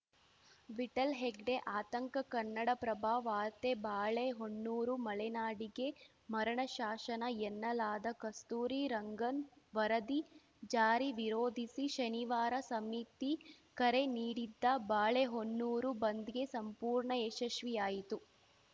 ವಿಠ್ಠಲ್‌ ಹೆಗ್ಡೆ ಆತಂಕ ಕನ್ನಡಪ್ರಭ ವಾರ್ತೆ ಬಾಳೆಹೊನ್ನೂರು ಮಳೆನಾಡಿಗೆ ಮರಣಶಾಸನ ಎನ್ನಲಾದ ಕಸ್ತೂರಿ ರಂಗನ್‌ ವರದಿ ಜಾರಿ ವಿರೋಧಿಸಿ ಶನಿವಾರ ಸಮಿತಿ ಕರೆ ನೀಡಿದ್ದ ಬಾಳೆಹೊನ್ನೂರು ಬಂದ್‌ಗೆ ಸಂಪೂರ್ಣ ಯಶಸ್ವಿಯಾಯಿತು